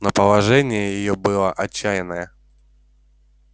но положение её было отчаянное